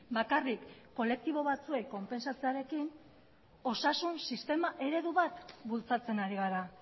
bakarrik kolektibo batzuek konpentsatzearekin osasun sistema eredu bat bultzatzen ari gara